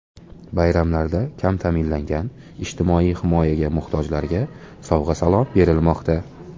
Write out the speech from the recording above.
Bayramlarda kam ta’minlangan, ijtimoiy himoyaga muhtojlarga sovg‘a-salom berilmoqda.